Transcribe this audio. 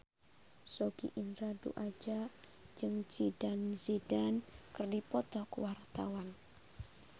Sogi Indra Duaja jeung Zidane Zidane keur dipoto ku wartawan